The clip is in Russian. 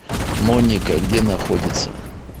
моника где находится